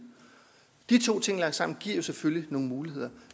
de to ting lagt sammen giver selvfølgelig nogle muligheder